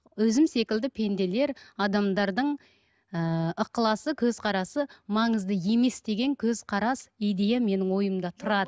өзім секілді пенделер адамдардың ыыы ықыласы көзқарасы маңызды емес деген көзқарас идея менің ойымда тұрады